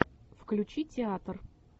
включи театр